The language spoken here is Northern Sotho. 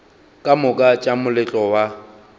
ka moka tša moletlo wa